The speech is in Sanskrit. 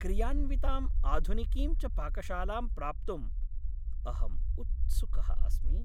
क्रियान्विताम् आधुनिकीं च पाकशालां प्राप्तुं अहं उत्सुकः अस्मि।